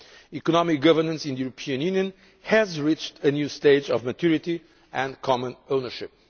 Economic governance in the European Union has reached a new stage of maturity and common ownership.